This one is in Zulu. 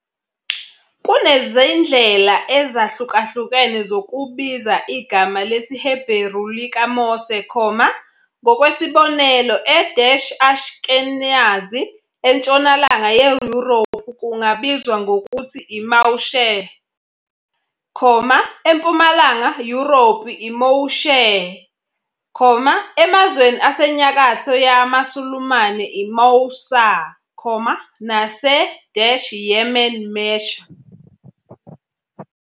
Kunezindlela ezahlukahlukene zokubiza igama lesiHeberu likaMose, ngokwesibonelo e-Ashkenazi entshonalanga yeYurophu kungabizwa ngokuthi uMausheh, eMpumalanga Yurophu uMoysheh, emazweni asenyakatho yamaSulumane iMoussa, nase-Yemen Mesha.